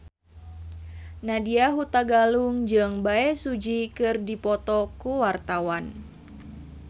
Nadya Hutagalung jeung Bae Su Ji keur dipoto ku wartawan